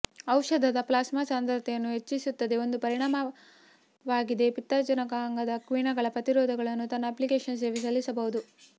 ಔಷಧದ ಪ್ಲಾಸ್ಮಾ ಸಾಂದ್ರತೆಯನ್ನು ಹೆಚ್ಚಿಸುತ್ತದೆ ಒಂದು ಪರಿಣಾಮವಾಗಿದೆ ಪಿತ್ತಜನಕಾಂಗದ ಕಿಣ್ವಗಳ ಪ್ರತಿರೋಧಕಗಳು ತನ್ನ ಅಪ್ಲಿಕೇಶನ್ ಸೇವೆ ಸಲ್ಲಿಸಬಹುದು